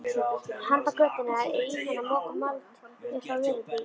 Handan götunnar er ýtan að moka mold upp á vörubíl.